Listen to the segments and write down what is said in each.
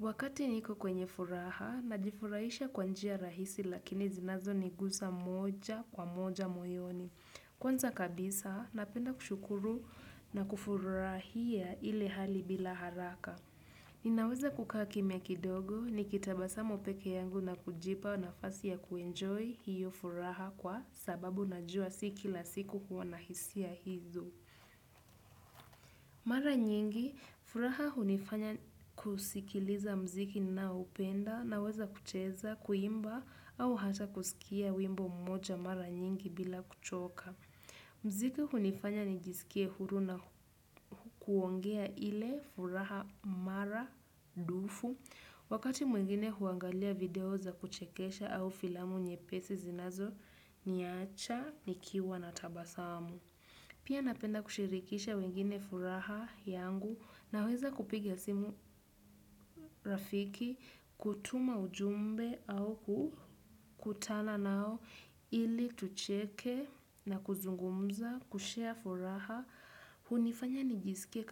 Wakati niko kwenye furaha, najifurahisha kwa njia rahisi lakini zinazo niguza moja kwa moja moyoni. Kwanza kabisa, napenda kushukuru na kufurahia ile hali bila haraka. Ninaweza kukaa kimya kidogo ni kitabasamu pekee yangu na kujipa nafasi ya kuenjoy hiyo furaha kwa sababu najua si kila siku huwa nahisia hizo. Mara nyingi, furaha hunifanya kusikiliza muziki ninao upenda na weza kucheza, kuimba au hata kusikia wimbo mmoja mara nyingi bila kuchoka. Muziki hunifanya nijisikie huru na kuongea ile furaha mara dufu. Wakati mwingine huangalia video za kuchekesha au filamu nyepesi zinazo niacha, nikiwa na tabasamu. Pia napenda kushirikisha wengine furaha yangu na weza kupigia simu rafiki, kutuma ujumbe au kutana nao ili tucheke na kuzungumza, kushare furaha, hunifanya nijisike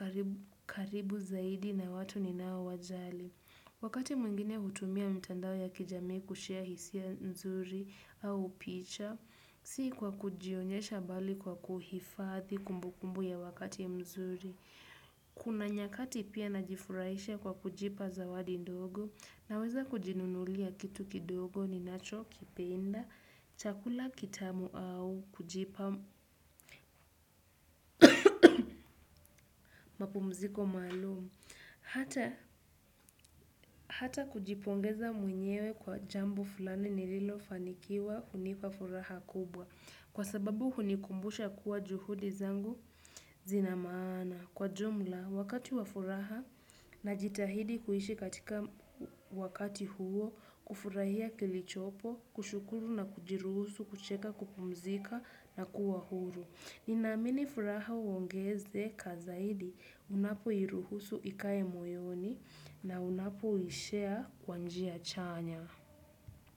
karibu zaidi na watu ni nao wajali. Wakati mwingine hutumia mitandao ya kijamii kushare hisia nzuri au picha, si kwa kujionyesha bali kwa kuhifadhi kumbukumbu ya wakati mzuri. Kuna nyakati pia najifurahisha kwa kujipa zawadi ndogo na weza kujinunulia kitu kidogo ni nacho kipenda, chakula kitamu au kujipa mapumziko maalum. Hata kujipongeza mwenyewe kwa jambo fulani nililofanikiwa hunipa furaha kubwa kwa sababu hunikumbusha kuwa juhudi zangu zina maana kwa jumla wakati wa furaha na jitahidi kuishi katika wakati huo kufurahia kilichopo kushukuru na kujiruhusu kucheka kupumzika na kuwa huru. Ninamini furaha huongezeka zaidi unapo iruhusu ikae moyoni na unapo i share kwa njia chanya.